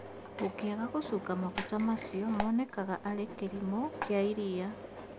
Ũngĩaga gũcunga maguta macio monekaga arĩ kĩrimũ kĩa iria